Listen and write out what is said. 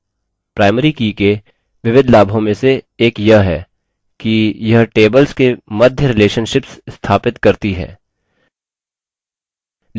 primary की के विविध लाभों में से एक यह है कि यह tables के मध्य relationships स्थापित करती है